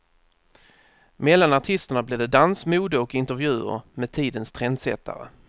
Mellan artisterna blir det dans, mode och intervjuer med tidens trendsättare.